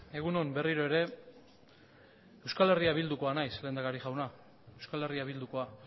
egun on berriro ere euskal herria bildukoa naiz lehendakari jauna euskal herria bildukoa